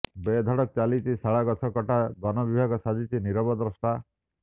ବେଧଡକ ଚାଲିଛି ଶାଳ ଗଛ କଟା ବନ ବିଭାଗ ସାଜିଛି ନୀରବଦ୍ରଷ୍ଟା